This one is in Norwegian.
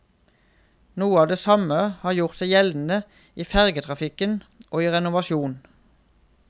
Noe av det samme har gjort seg gjeldende i fergetrafikk og i renovasjon.